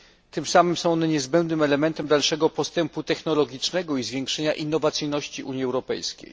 Tym samym są one niezbędnym elementem dalszego postępu technologicznego i zwiększenia innowacyjności Unii Europejskiej.